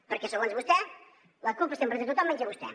perquè segons vostè la culpa és sempre de tothom menys de vostè